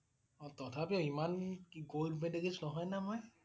অ' তথাপিও ইমা~ন gold medalist নহয় না মই ।